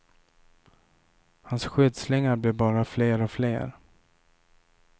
Hans skyddslingar blev bara fler och fler.